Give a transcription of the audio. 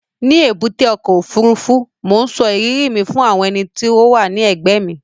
Ní èbúté ọkọ̀-òfurufú, mò ń sọ ìrírí mi fún ẹni tó wà ní ẹ̀gbẹ́ mi